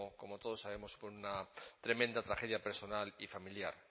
como todos sabemos supone una tremenda tragedia personal y familiar